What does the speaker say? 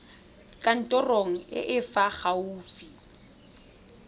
kantorong e e fa gaufi